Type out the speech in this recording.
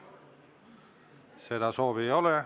Seda soovi ei ole.